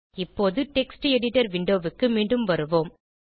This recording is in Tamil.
இப்போது டெக்ஸ்ட் எடிட்டர் விண்டோ க்கு மீண்டும் வருவோம்